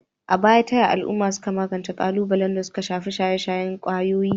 A baya, ta yaya al'uma suka magance kalubalen da suka shafi shaye-shayen kwayoyi?